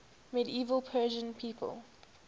medieval persian people